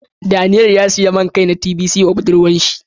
Daniel ya siya main Kai na tbc ma budurwan shi.